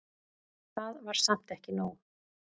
Það var samt ekki nóg.